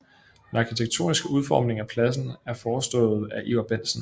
Den arkitektoniske udformning af pladsen er forestået af Ivar Bentsen